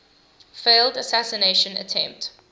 failed assassination attempt